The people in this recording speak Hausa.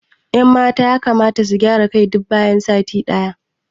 Ƴan mata yakamata su gyara kai duk bayan sati day